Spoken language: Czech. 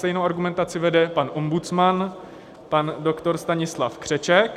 Stejnou argumentaci vede pan ombudsman pan doktor Stanislav Křeček.